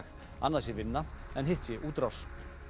annað sé vinna en hitt sé útrás